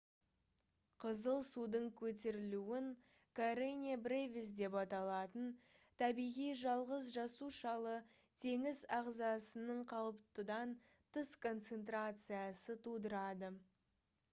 қызыл судың көтерілуін karenia brevis деп аталатын табиғи жалғыз жасушалы теңіз ағзасының қалыптыдан тыс концентрациясы тудырады